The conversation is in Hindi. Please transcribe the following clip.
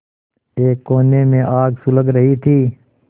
एक कोने में आग सुलग रही थी